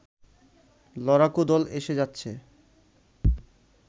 লড়াকু দল এসে যাচ্ছে